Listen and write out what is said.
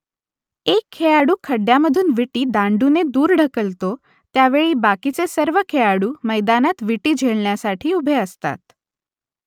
एक खेळाडू खड्ड्यामधून विटी दांडूने दूर ढकलतो त्या वेळेस बाकीचे सर्व खेळाडू मैदानात विटी झेलण्यासाठी उभे असतात